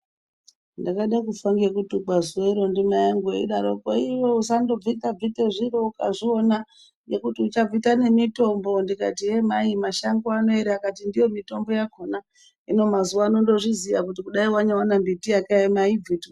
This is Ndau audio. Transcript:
Ndakade kufa ngekutukwa zuwa iro ndimai angu eidaroko iwe usandobvitabvita zviro ukazviona ngekuti uchabvita nemitombo ndikati yee mai mashango anoera akati ndiyo mitombo yakhona, hino mazuwa ano ndizviziya kuti kudayi wanyaone mbiti yakaema ayibvitwi.